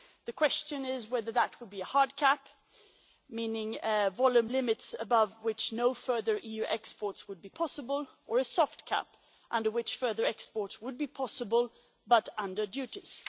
The question is whether that would be a hard cap, meaning volume limits above which no further EU exports would be possible, or a soft cap, under which further exports would be possible, but under duties.